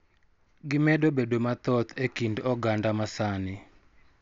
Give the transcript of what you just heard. Gimedo bedo mathoth e kind oganda ma sani.